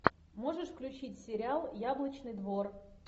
можешь включить сериал яблочный двор